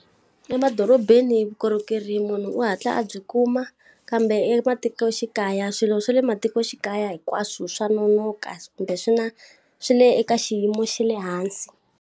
Emadorobeni vukorhokeri munhu u hatla a byi kuma, kambe ematikoxikaya swilo swa le matikoxikaya hinkwaswo swa nonoka kumbe swi na swi le eka xiyimo xa le hansi.